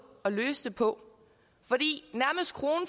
at løse det på